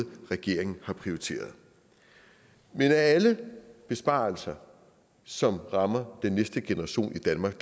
regeringen har prioriteret men af alle besparelser som rammer den næste generation i danmark